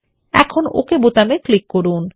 এখন ওক বাটনে ক্লিক করুন